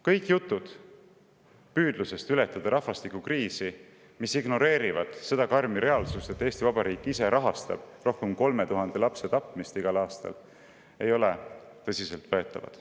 Kõik jutud sellest, kuidas ületada rahvastikukriisi, mis ignoreerivad seda karmi reaalsust, et Eesti Vabariik ise rahastab rohkem kui 3000 lapse tapmist igal aastal, ei ole tõsiselt võetavad.